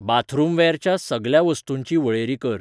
बाथरूमवॅरच्या सगल्या वस्तूंची वळेरी कर.